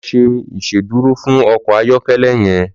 Lò ṣé Ìṣédùró fún ọkọ ayọkẹlẹ yèn